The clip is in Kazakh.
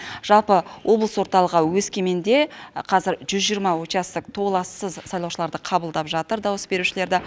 жалпы облыс орталығы өскеменде қазір жүз жиырма участок толассыз сайлаушыларды қабылдап жатыр дауыс берушілерді